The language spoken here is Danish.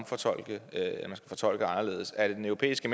fortolke fortolke anderledes er det den europæiske